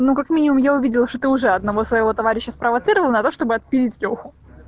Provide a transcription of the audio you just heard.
ну как минимум я увидела что ты уже одного своего товарища спровоцировал на то чтобы отпиздить лёху